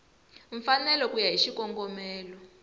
mfanelo ku ya hi xikongomelo